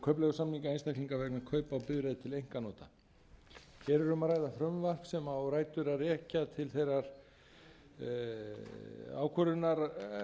kaupleigusamninga einstaklinga vegna kaupa á bifreið til einkanota hér er um að ræða frumvarp sem á rætur að rekja til þeirrar ákvörðunar